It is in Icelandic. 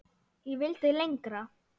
Ég vildi lengra.